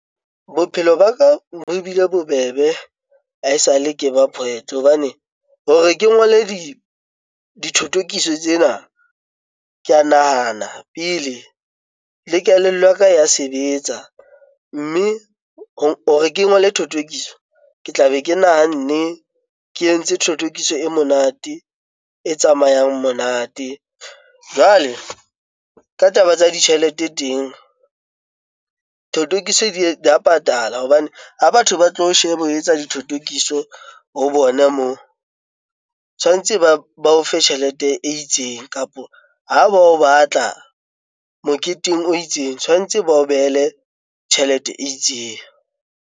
Bophelo ba ka bo bile bobebe ha esale ke ba poet hobane hore ke ngole dithothokiso tsena, ke a nahana pele le kelello ya ka ya sebetsa. Mme hore ke ngole thothokiso, ke tlabe ke nahanne, ke entse thothokiso e monate, e tsamayang monate. Jwale ka taba tsa ditjhelete teng, thothokiso di a patala hobane ha batho ba tlo o sheba o etsa dithotokiso ho bona moo, tshwantse ba o fe tjhelete e itseng. Kapo ha ba o batla moketeng o itseng, tshwantse ba o behele tjhelete e itseng.